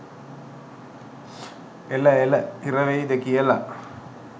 එල එලහිරවෙයිද කියලා